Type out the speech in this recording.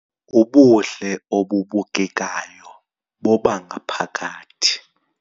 Ubuhle obubukekayo bobangaphakathi